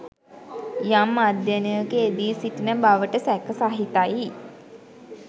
යම් අධ්‍යයනයක යෙදී සිටින බවට සැක සහිතයි